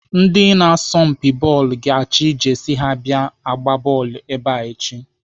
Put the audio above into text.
Ndị na-asọmpi bọọlụ ga-achị Jesi ha abịa agba bọọlụ ebe a echi.